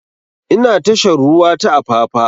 Ina tashar ruwa ta apapa